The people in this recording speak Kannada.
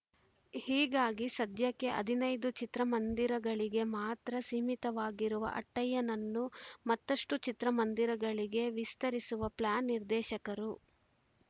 ಹೀಗಾಗಿ ಸದ್ಯಕ್ಕೆ ಹದಿನೈದು ಚಿತ್ರಮಂದಿರಗಳಿಗೆ ಮಾತ್ರ ಸೀಮಿತವಾಗಿರುವ ಅಟ್ಟಯ್ಯನನ್ನು ಮತ್ತಷ್ಟುಚಿತ್ರಮಂದಿರಗಳಿಗೆ ವಿಸ್ತರಿಸುವ ಪ್ಲಾನ್‌ ನಿರ್ದೇಶಕರು